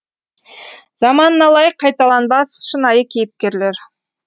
заманына лайық қайталанбас шынайы кейіпкерлер